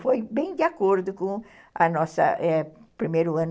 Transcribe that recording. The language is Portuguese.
Foi bem de acordo com a nossa, é o nosso primeiro ano.